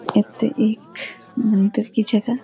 यत्त एख मंदिर की जगा।